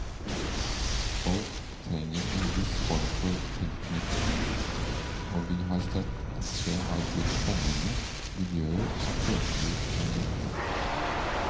Folk trenger en viss form for tilknytning, og vi har sett at det har blitt spennende miljøer som følge av dette.